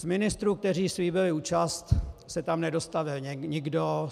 Z ministrů, kteří slíbili účast, se tam nedostavil nikdo.